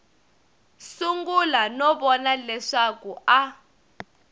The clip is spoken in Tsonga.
sungula no vona leswaku a